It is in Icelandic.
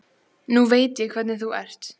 Nú veit ég hvernig þú ert!